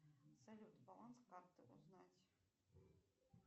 салют баланс карты узнать